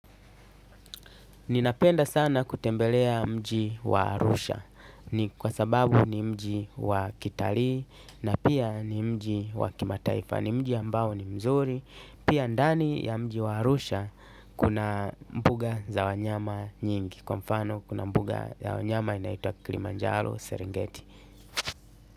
Ninapenda sana kutembelea mji wa Arusha. Ni kwa sababu ni mji wa kitalii na pia ni mji wa kimataifa. Ni mji ambao ni mzuri pia ndani ya mji wa Arusha. Kuna mbuga za wanyama nyingi, kwa mfano kuna mbuga ya wanyama inaitwa Kilimanjaro Serengeti.